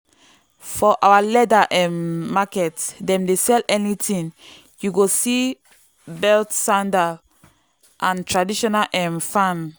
for our leather um market dem dey sell anything you go see belt sandal and traditional um fan.